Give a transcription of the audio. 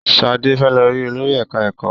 Shade fè ló rí Olórí ẹka ẹkọ.